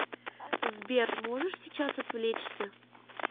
сбер можешь сейчас отвлечься